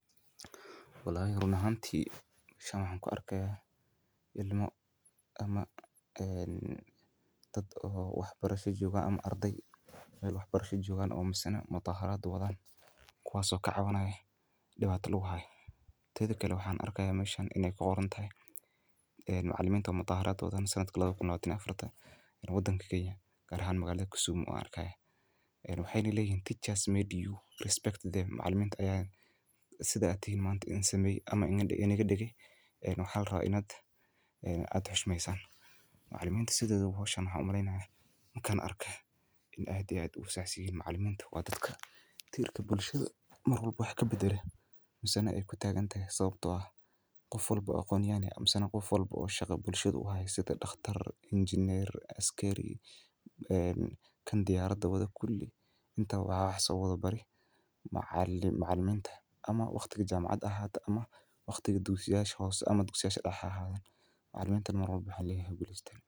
Wallahi run ahantii shan ah ku arkaya ilmo ama, ah, dad oo waxbarasho joogaan ama arday ee waxbarasho joogaan oo u misne muutaharaadu wadaan kuwaaso ka caawinayo dhibaatay loo ahaa. Tii kale waxaan arkaya mooshahan inay qoorantahay macalimiinta muutaharaadu wadaan sanadkii 2014 ta inuu wadan Kenya gaar ahaan magaalada Kisumu arkay. Wuxuuna helay in teachers made you respect them. Macalimiintu ayaa sidaa tahi maanta in samay ama in aan inaga dhigi. Wixii hal ra inaad adxush maysan. Maclimiintu sidoo kale waxaan u hamlayn in kan arkay in aadyaad u saaciyey macalimiinta wadadka. Diirka bulshada mar walbo wax ka beddelo, hase yeeshe ku tagan sababtoo ah qof walbo oo kon iyo hane amma qof walbo oo shaqo bulshada waaye sida dhakhtar, engineer, askari, kan diyaaradda wada kulii inta waa xasoo wada baray macalliminta ama waqtiga jamacad ahaata ama waqtiga dugsiyaysho howsi ama dugsiyaysho dahaan ha ahan. macalimiinta mar walbo waxaa lihi guli isla.